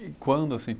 E quando assim?